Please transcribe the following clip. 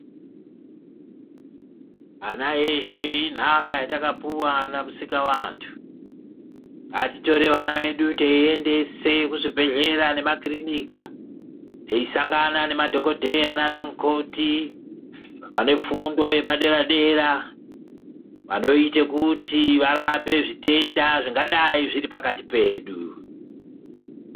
Ana eshe intaka yatakapiwa namusikavantu . Ngatitore ana edu teiendese kuzvibhedhlera nema kirinika teisangana nemadhokodheya nanamukoti vanefundo yepadera dera vanoita kuti varape zvitenda zvingadai zviripakati pedu.